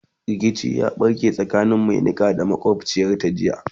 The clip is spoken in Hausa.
rikici ya ɓarke tsakanin Mai Niƙa da makwabciyarta jiya